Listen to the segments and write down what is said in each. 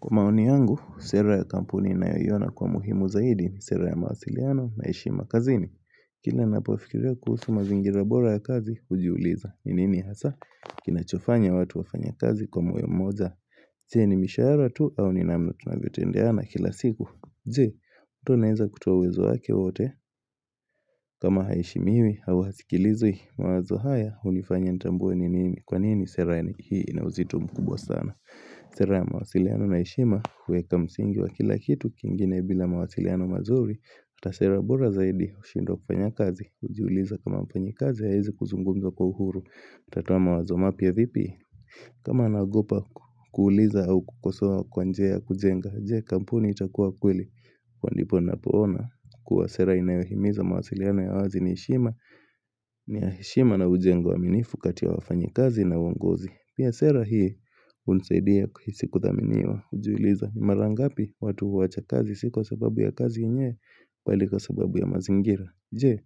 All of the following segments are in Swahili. Kwa maoni yangu, sera ya kampuni inaoiyona kwa muhimu zaidi ni sera ya mawasiliano na heshima kazin, Kila napofikiria kuhusu mazingira bora ya kazi, ujiuliza nini hasa, kinachofanya watu wafanye kazi kwa moyo moja. Je? Ni mishahara tu au ni namna tunavyo tendeana kila siku je, mtu anawenza kutuoa uwezo wake wote kama haishemiwi hii, hawa hausikilizwi mawazo haya, unifanya nitambue nini Kwa nini sera hii ina uzito mkubwa sana Sera ya mawasiliano na heshima uweka msingi wa kila kitu kingine bila mawasiliano mazuri. Hata sera bura zaidi ushindwa kufanya kazi ujiuliza kama mfanyi kazi ya hawezi kuzumgumza kwa uhuru. Atatoa mawazo mapia vipi kama nagopa kuuliza au kukosoa kwa njia ya kujenga. Je? Kampuni itakuwa kweli kwa ndipo napoona kua sera inayohimiza mawasiliano ya wazi ni heshima ni ya heshima na ujengo wa minifu katia wafanyi kazi na uongozi. Pia sera hii hunisaidia kuhisi kuthaminiwa ujuliza ni mara ngapi watu huwacha kazi si kwa sababu ya kazi yenyewe Bali kwa sababu ya mazingira Je?,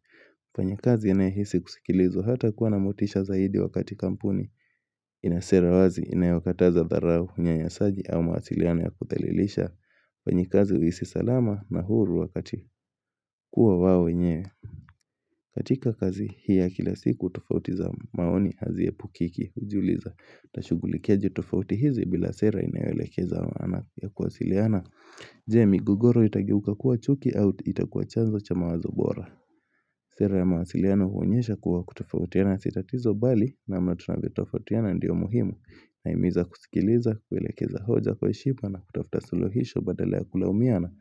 mfanyakazi yanaye hisi kusikilizwa hata kuwa na motisha zaidi wakati kampuni ina sera wazi inayokataza dharau unyayasaji au mawasiliano ya kuthalilisha wenye kazi uhisi salama na huru wakati kuwa wao wenyewe katika kazi hii ya kila siku tofauti za maoni haziepukiki ujuliza tashugulikia jitofauti hizi bila sera inaewelekeza maana ya kuwasiliana Je? Migogoro itageuka kuwa chuki au itakuwa chanzo cha mawazo bora Sera ya mawasiliano huonyesha kuwa kutofautiana si tatizo bali na mamna tunavyotofautiana ndio muhimu. Nahimiza kusikiliza kuwelekeza hoja kwa heshima na kutafuta suluhisho badala ya kulaumiana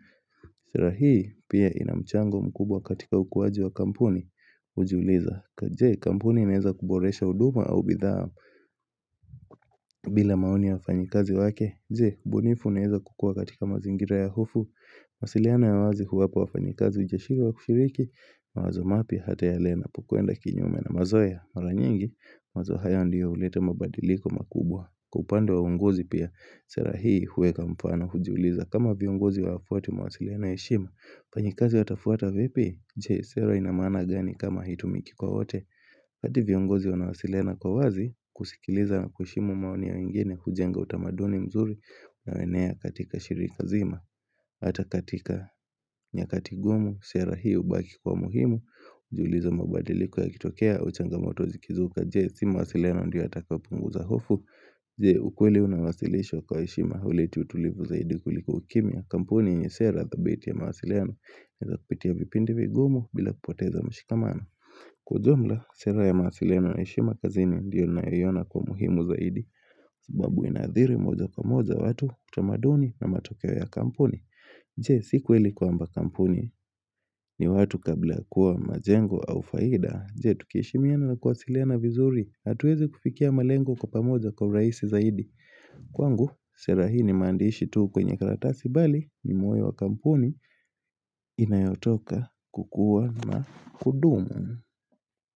Sera hii pia inamchango mkubwa katika ukuwaji wa kampuni hujuliza Kwa je kampuni ineza kuboresha huduma au bidhaa bila maoni wafanyikazi wake? Je ubunifu inaweza kukua katika mazingira ya hofu? Mawasiliano ya wazi huwapa wafanyikazi ujasiri wa kushiriki mawazo mapia hata yale yanapokuenda kinyume na mazoea mara nyingi mazoea ndio huleta mabadiliko makubwa. Kwa upande wa uongozi pia, sera hii huwa kwa mfano hujuliza, kama viongozi wa hafwati mawasiliano ya heshima wafanyikazi watafuata vipi? Je sera inamana gani kama hitumiki kwa wote? Hati viongozi wanawasiliana kwa wazi kusikiliza na kuheshimu maoni ya wengine kujenga utamaduni mzuri na unaonea katika shirika zima Hata katika nyakati ngumu sera hiyo hubaki kwa muhimu Hujuliza mabadiliko ya kitokea ua changamoto zikizuka. Je? Si mawasiliano ndiyo yatakayopunguza hofu Je? Ukweli unawasilisho kwa heshima ule tu utulivu zaidi kuliko ukimia, kampuni yenye sera the dhabiti ya mawasiliano. Inaweza kupitia vipindi vigumu bila kupoteza mshikamano. Kwa jumla, sera ya mawasiliano na heshima kazini ndiyo naiona kwa muhimu zaidi sababu inadhiri moja kwa moja watu, utamaduni na matokeo ya kampuni Je?, si kweli kwamba kampuni ni watu kabla kuwa majengo au faida. Je? Tukiheshimiana na kuwasiliana vizuri, hatuwezi kufikia malengo kwa pamoja kwa rahisi zaidi? Kwangu, sera hii ni mandishi tu kwenye karatasi bali, ni moyo wa kampuni inayotoka kukua na kudumu.